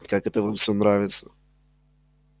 и как это вам всё нравится